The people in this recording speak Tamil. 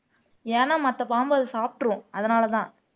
ஏன்னா மத்த பாம்பை அது சாப்பிட்டுரும் அதனாலதான்